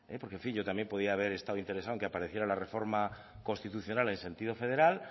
porque en fin yo también podría haber estado interesado en que apareciera la reforma constitucional en sentido federal